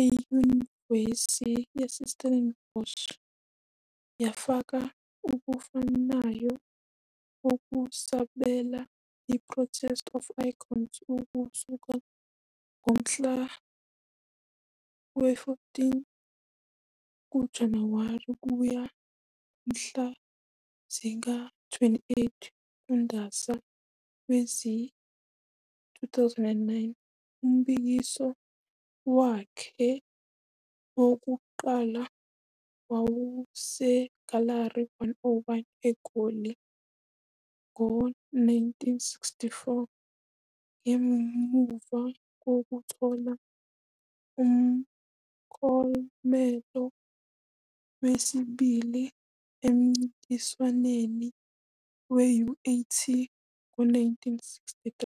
eNyuvesi yaseStellenbosch yafaka okufanayo okusobala- I-Prospect of Icons ukusuka ngomhlaka 14 kuJanuwari kuya kumhla zingama-28 kuNdasa wezi-2009. Umbukiso wakhe wokuqala wawuseGalari 101, eGoli, ngo-1964 ngemuva kokuthola umklomelo wesibili emncintiswaneni we-UAT ngo-1963.